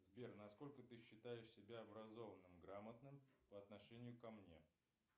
сбер насколько ты считаешь себя образованным грамотным по отношению ко мне